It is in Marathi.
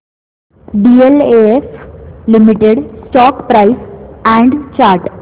DLF limited stock price and chart